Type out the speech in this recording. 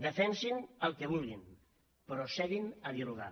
defensin el que vulguin però asseguin se a dialogar